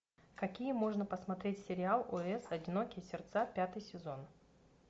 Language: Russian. какие можно посмотреть сериал ос одинокие сердца пятый сезон